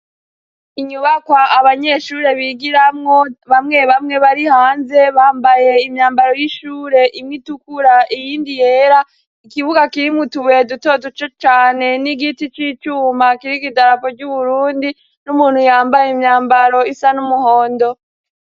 Inyubakwa abanyeshure bigiramwo, bamwe bamwe bari hanze bambaye imyambaro y'ishure, imwe itukura iyindi yera, ikibuga kirimwo utubuye duto duto cane n'igiti c'icuma kiriko idarapo ry'Uburundi n'umuntu yambaye imyambaro isa n'umuhondo.